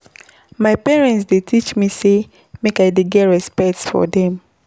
My parents dey teach me sey make I dey get respect for dem.